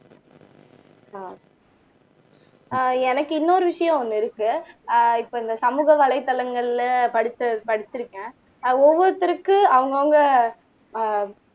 ஆஹ் ஆஹ் எனக்கு இன்னொரு விஷயம் ஒண்ணு இருக்கு ஆஹ் இப்ப இந்த சமூக வலைத்தளங்கள்ல படிச் படிச்சிருக்கேன் ஆஹ் ஒவ்வொருத்தருக்கு அவங்கவங்க ஆஹ்